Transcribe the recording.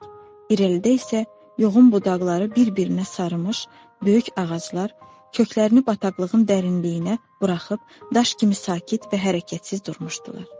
İrəlidə isə yoğun budaqları bir-birinə sarımış, böyük ağaclar köklərini bataqlığın dərinliyinə buraxıb daş kimi sakit və hərəkətsiz durmuşdular.